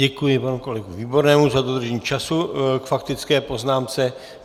Děkuji panu kolegovi Výbornému za dodržení času k faktické poznámce.